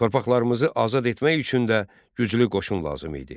Torpaqlarımızı azad etmək üçün də güclü qoşun lazım idi.